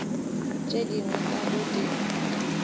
tše dingwe ka go di